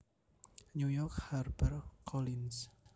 New York HarperCollins